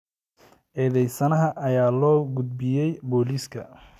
Eedeysanaha ayaa loo gudbiyay booliiska.